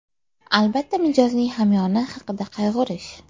Albatta, mijozning hamyoni haqida qayg‘urish.